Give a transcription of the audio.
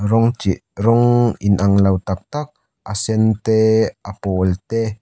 rawng chi rawng inang lo tak tak a sen te a pawl te--